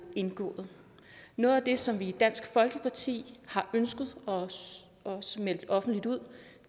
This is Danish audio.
indgået noget af det som vi i dansk folkeparti har ønsket og også meldt offentligt ud